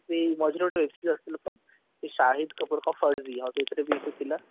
ହଁ ମଝିରେ ରେ ଗୋଟେ web series ଆସିଥିଲା ତ ସାହିଦ କପୁର ସେଥିରେ ବି ସେ ଥିଲା